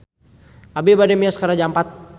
Abi bade mios ka Raja Ampat